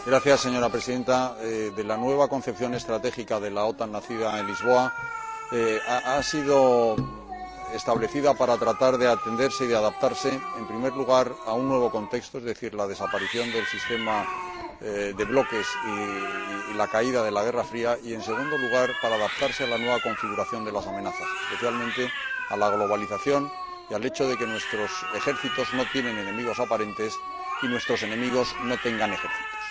Señora Presidenta, la nueva concepción estratégica de la OTAN, nacida en Lisboa, ha sido establecida para tratar de atender y de adaptarse, en primer lugar, a un nuevo contexto, es decir, la desaparición del sistema de bloques y el final de la guerra fría y, en segundo lugar, para adaptarse a la nueva configuración de las amenazas, especialmente a la globalización y al hecho de que nuestros ejércitos no tienen enemigos aparentes y de que nuestros enemigos no tengan ejércitos.